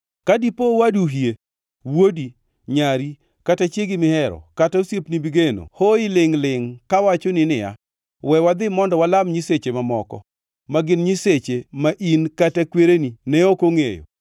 Ka dipo owadu hie, wuodi, nyari kata chiegi mihero kata osiepni migeno hoyi lingʼ-lingʼ kawachoni niya, “We wadhi mondo walam nyiseche mamoko” (ma gin nyiseche ma in kata kwereni ne ok ongʼeyo;